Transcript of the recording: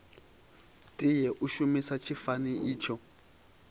tea u shumisa tshifani itsho